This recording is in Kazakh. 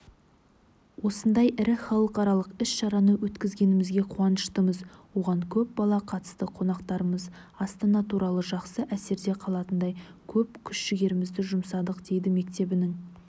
осындай ірі халықаралық іс-шараны өткізгенімізге қуаныштымыз оған көп бала қатысты қонақтарымыз астана туралы жақсы әсерде қалатындай көп күш-жігерімізді жұмсадық дейді мектебінің